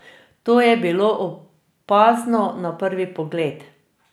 To je bilo opazno na prvi pogled.